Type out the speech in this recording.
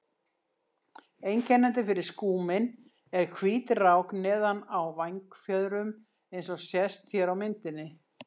Einkennandi fyrir skúminn er hvít rák neðan á vængfjöðrum eins og sést hér á myndinni.